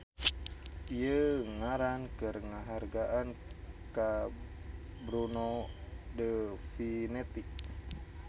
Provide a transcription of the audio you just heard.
Ieu ngaran keur ngahargaan ka Bruno de Finetti.